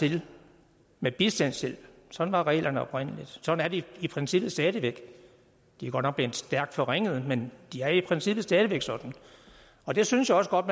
til med bistandshjælp sådan var reglerne oprindelig sådan er de i princippet stadig væk de er godt nok blevet stærkt forringet men de er i princippet stadig væk sådan og det synes jeg også godt